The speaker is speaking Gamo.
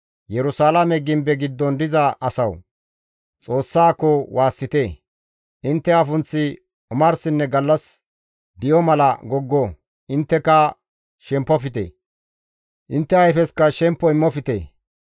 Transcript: Yerusalaame gimbe giddon diza asawu! Xoossaako waassite; intte afunththi omarsinne gallas di7o mala goggo; intteka shempofte; intte ayfesikka shemppo immofte.